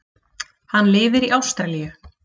Hann lifir í Ástralíu.